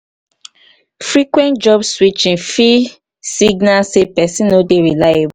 frequent job switching fit signal sey person no dey reliable